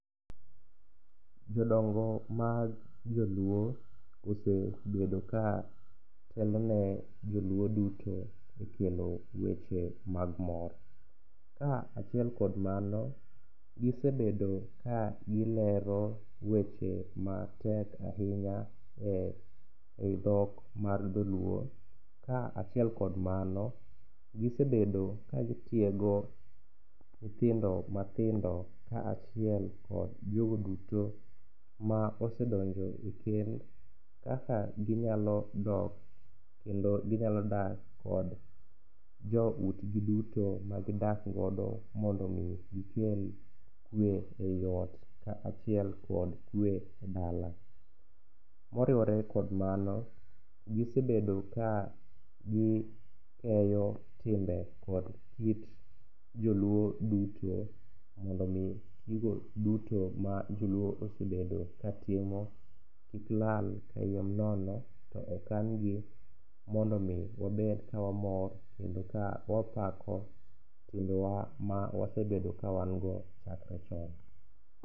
Jodongo mag joluo osebedo katelone joluo duto e kelo weche mag mor. Kaachiel kod mano gisebedo kagilero weche matek ahinya e i dhok mar dholuo kaachiel kod mano gisebedo kagitiego nyithindo mathindo kaachiel kod jogo duto ma osedonjo e kend kaka ginyalo dok kendo ginyalo dak kod joutgi duto magidakgodo mondo omi gikel kwe i ot kaachiel kod kwe e dala. Moriwore kod mano, gisebedo ka gikeyo timbe kod kit joluo duto mondo omi gigo duto ma joluo osebedo katimo kik lal kayiem nono to okangi mondo omi wabed kawamor kendo ka wapako timbewa ma wasebedo kawango chakre chon.